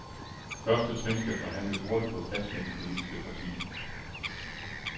Første trin skal forhandles hurtigt på plads med de politiske partier.